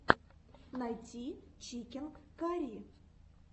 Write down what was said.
найти чикен карри